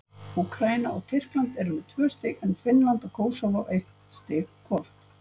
Úkraína og Tyrkland eru með tvö stig en Finnland og Kósóvó eitt stig hvort.